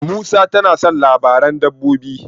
Musa tana son labaran dabbobi.